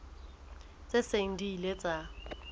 tse seng di ile tsa